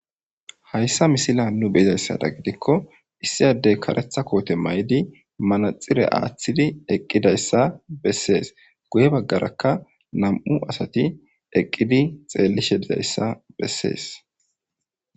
hayssa misila nu beizayssada gidikko issiyadey karetha koote may7di manaxire aaththidi eqqidayssa bessees guye baggarakka nam7u asati eqqidi xeellishe dizayssa bessees